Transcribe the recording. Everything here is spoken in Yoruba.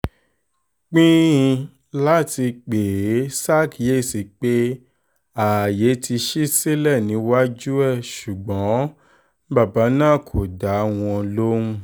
pín-ín láti pè é ṣàkíyèsí pé ààyè ti ṣí sílẹ̀ níwájú ẹ̀ ṣùgbọ́n bàbá náà kò dá wọn lóhùn